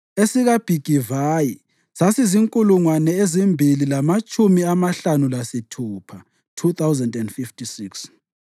esikaBhigivayi sasizinkulungwane ezimbili lamatshumi amahlanu lasithupha (2,056),